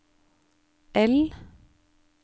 L